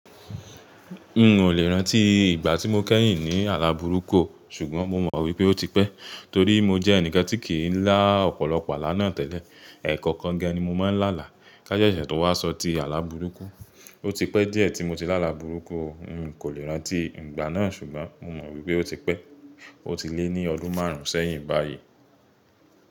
N o lè rántí ìgbà tí mo kẹ́yìn ní àlá burúkú, ṣùgbọ́n mo mọ̀ wípé ó ti pẹ́ torí mo jẹ́ ẹnì kan tí kì í lá ọ̀pọ̀lọpọ̀ àlá náà tẹ́lẹ̀. Ẹ̀ẹ̀kọ̀kan gan ni mo máa ń lálà káṣẹ́ṣẹ́ tó wá sọ ti àlá burúkú. Ó ti pẹ́ díẹ̀ tí mo ti lá àlá burúkú, n kò lè rántí ìgbà náà ṣùgbọ́n mo mọ̀ wípé ó ti pẹ́. Ó ti lé ní ọdún márùn-ún sẹ́yìn báyìí.